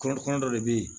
Kɔrɔ kundɔ de bɛ yen